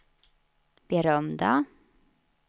berömda